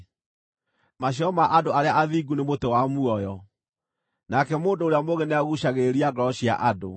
Maciaro ma andũ arĩa athingu nĩ mũtĩ wa muoyo, nake mũndũ ũrĩa mũũgĩ nĩaguucagĩrĩria ngoro cia andũ.